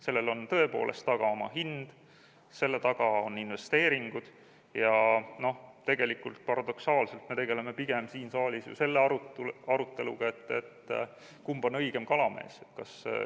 Sellel on tõepoolest oma hind, selle taga on investeeringud, ja tegelikult paradoksaalselt me tegeleme pigem siin saalis ju selle aruteluga, et kumb on õigem kalamees.